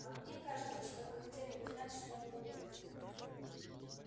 а мне кажется что вы хотели бы знать что он думает